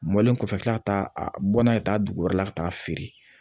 Mɔlen kɔfɛ tila ka taa a bɔ n'a ye taa dugu wɛrɛ la ka taa feere